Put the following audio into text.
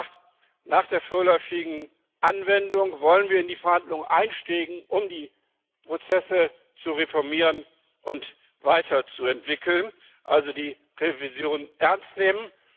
Wir haben gesagt, nach der vorläufigen Anwendung wollen wir in die Verhandlungen einsteigen, um die Prozesse zu reformieren und weiterzuentwickeln, also die Revision ernst nehmen.